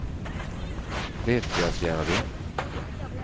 Vettasjärvi